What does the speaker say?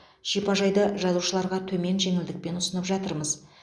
шипажайды жазушыларға төмен жеңілдікпен ұсынып жатырмыз